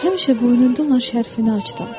Həmişə boynunda olan şərfini açdım.